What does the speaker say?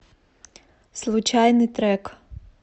случайный трек